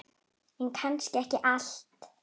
En kannski ekki allt.